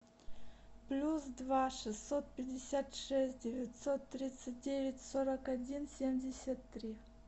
плюс два шестьсот пятьдесят шесть девятьсот тридцать девять сорок один семьдесят три